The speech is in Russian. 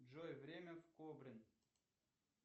джой время в кобрин